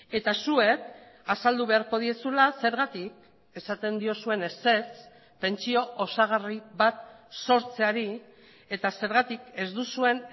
eta zuek azaldu beharko diezula zergatik esaten diozuen ezetz pentsio osagarri bat sortzeari eta zergatik ez duzuen